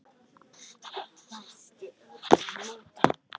hvæsti Örn á móti.